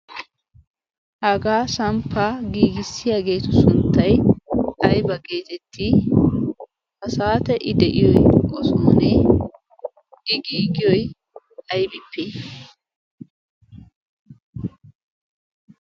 hagaa samppa giigissiyaageetu sunttay ayba geetetti ha saate i de'iyoy osoonee? i giigiyoy aybippee?